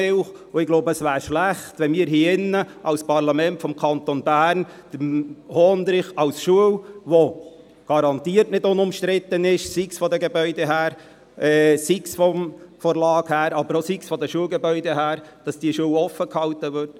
Ich glaube, es wäre schlecht, wenn wir hier drinnen, als Parlament des Kantons Bern, den Hondrich, als Schule, die garantiert nicht unumstritten ist, sei es von den Gebäuden her, sei es von der Lage her – dass diese Schule geöffnet bleibt.